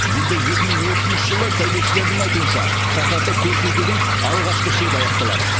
енді екі мың отызыншы жылы сәулетшілердің айтуынша шаһарды көркейтудің алғашқы шебі аяқталады